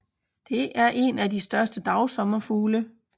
Det er en af de større dagsommerfugle